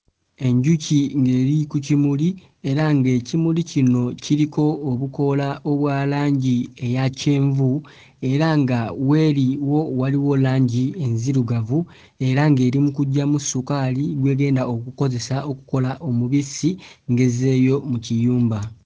Enjuki ng'eri ku kimuli era ng'ekimuli kino kiriko obukoola obwa langi eya kyenvu era nga w'eri wo waliwo langi enzirugavu era ng'eri mu kuggyamu sukaali gw'egenda okukozesa okkola omubisi ng'ezzeeyo mu kiyumba.